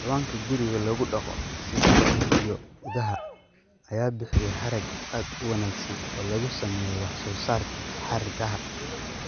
Xayawaanka guriga lagu dhaqdo sida lo'da iyo idaha ayaa bixiya harag aad u wanaagsan oo lagu sameeyo wax soo saarka hargaha.